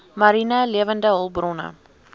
mariene lewende hulpbronne